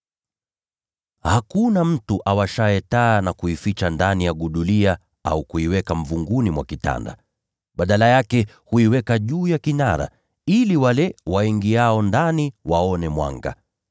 “Hakuna mtu awashaye taa na kuificha ndani ya gudulia au kuiweka mvunguni mwa kitanda. Badala yake, huiweka juu ya kinara, ili wale waingiao ndani waone mwanga.